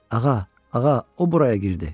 Ağa, ağa, o buraya girdi.